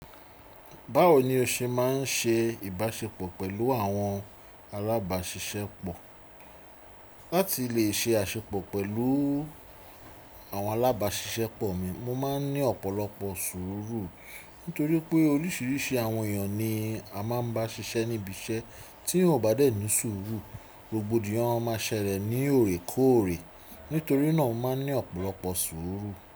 Báwo ni o ṣe máa ń ṣe ìbáṣepọ̀ pẹ̀lú àwọn alábáṣiṣẹ́pọ̀? Láti le ṣe àṣepọ̀ pẹ̀lú àwọn alábáṣiṣẹ́pọ̀ mi, mo máa ń ní ọ̀pọ̀lọpọ̀ sùúrù. Nítorí pé oríṣiríṣi àwọn èèyàn ni a máa ń bá ṣiṣẹ́ níbi iṣẹ́, tí eyan ò bá dé ní sùúrù, rògbòdìyàn máa ṣẹlẹ̀ ní òrèkóòrè. Nítorí náà, mo máa ń ní ọ̀pọ̀lọpọ̀ sùúrù.